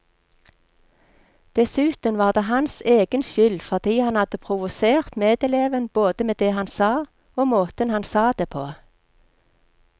Dessuten var det hans egen skyld fordi han hadde provosert medeleven både med det han sa, og måten han sa det på.